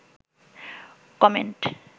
comment